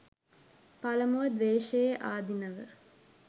පළමුව ද්වේශයේ ආදීනව